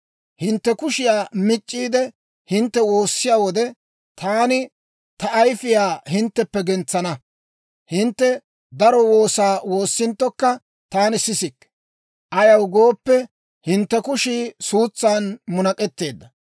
«Hintte kushiyaa mic'c'iide, hintte woossiyaa wode, taani ta ayfiyaa hintteppe gentsana; hintte daro woosaa woossinttokka, taani sisikke; ayaw gooppe, hintte kushii suutsan munak'etteedda.